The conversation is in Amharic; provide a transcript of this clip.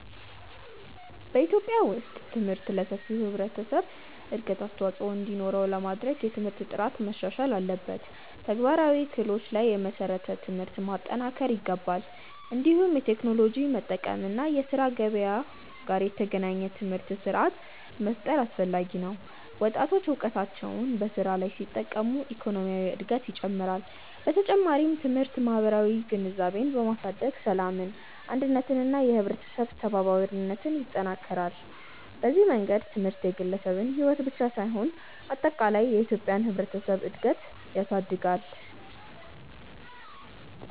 በኢትዮጵያ ውስጥ ትምህርት ለሰፊው ህብረተሰብ እድገት አስተዋፅኦ እንዲኖረው ለማድረግ የትምህርት ጥራት መሻሻል አለበት፣ ተግባራዊ ክህሎቶች ላይ የተመሰረተ ትምህርት መጠናከር ይገባል። እንዲሁም የቴክኖሎጂ መጠቀም እና የስራ ገበያ ጋር የተገናኘ ትምህርት ስርዓት መፍጠር አስፈላጊ ነው። ወጣቶች እውቀታቸውን በስራ ላይ ሲጠቀሙ የኢኮኖሚ እድገት ይጨምራል። በተጨማሪም ትምህርት ማህበራዊ ግንዛቤን በማሳደግ ሰላምን፣ አንድነትን እና የህብረተሰብ ተባባሪነትን ይጠናክራል። በዚህ መንገድ ትምህርት የግለሰብን ሕይወት ብቻ ሳይሆን አጠቃላይ የኢትዮጵያን ህብረተሰብ እድገት ያሳድጋል።